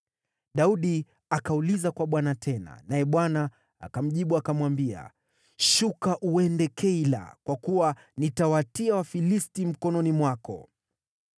Daudi akauliza kwa Bwana tena, naye Bwana akamjibu akamwambia, “Shuka uende Keila, kwa kuwa nitawatia Wafilisti mkononi mwako.”